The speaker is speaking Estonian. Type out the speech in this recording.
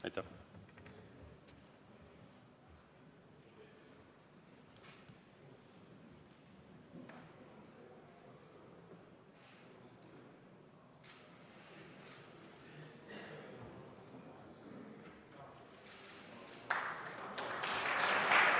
Aitäh!